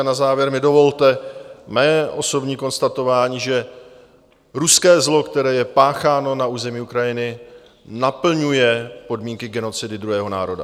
A na závěr mi dovolte mé osobní konstatování, že ruské zlo, které je pácháno na území Ukrajiny, naplňuje podmínky genocidy druhého národa.